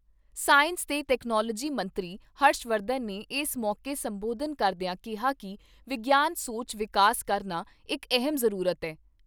Science ਤੇ technology ਮੰਤਰੀ ਹਰਸ਼ਵਰਧਨ ਨੇ ਏਸ ਮੌਕੇ ਸੰਬੋਧਨ ਕਰਦਿਆਂ ਕਿਹਾ ਕਿ ਵਿਗਿਆਨਕ ਸੋਚ ਵਿਕਸਤ ਕਰਨਾ ਇਕ ਅਹਿਮ ਜ਼ਰੂਰਤ ਏ।